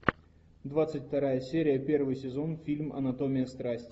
двадцать вторая серия первый сезон фильм анатомия страсти